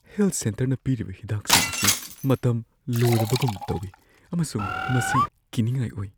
Health ꯁꯦꯟꯇꯔꯅ ꯄꯤꯔꯤꯕ ꯍꯤꯗꯥꯛꯁꯤꯡ ꯑꯁꯤ ꯃꯇꯝ ꯂꯣꯏꯔꯕꯒꯨꯝ ꯇꯧꯋꯤ ꯑꯃꯁꯨꯡ ꯃꯁꯤ ꯀꯤꯅꯤꯡꯉꯥꯏ ꯑꯣꯏ꯫